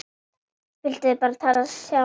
Þau vildu bara tala sjálf.